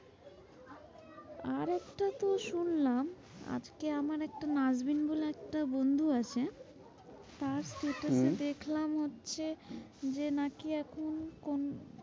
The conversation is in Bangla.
আরেকটা তোর শুনলাম আজকে আমার একটা নারভিন বলে একটা বন্ধু আছে। তার status হম এ দেখলাম হচ্ছে যে নাকি এখন কোন?